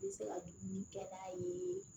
I bɛ se ka dumuni kɛ n'a ye